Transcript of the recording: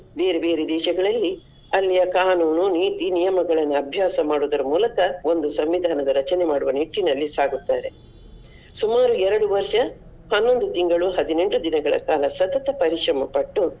ಬೇರೆ ಬೇರೆ ದೇಶಗಳಲ್ಲಿ ಅಲ್ಲಿಯ ಕಾನೂನು ನೀತಿ ನಿಯಮಗಳನ್ನ ಅಭ್ಯಾಸ ಮಾಡುದರ ಮೂಲಕ ಒಂದು ಸಂವಿಧಾನದ ರಚನೆ ಮಾಡುವ ನಿಟ್ಟಿನಲ್ಲಿ ಸಾಗುತ್ತಾರೆ. ಸುಮಾರು ಎರಡು ವರ್ಷ ಹನೊಂದು ತಿಂಗಳು ಹದಿನೆಂಟು ದಿನಗಳ ಕಾಲ ಸತತ ಪರಿಶ್ರಮ ಪಟ್ಟು.